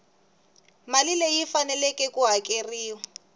mali leyi faneleke ku hakeriwa